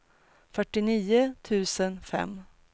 fyrtionio tusen fem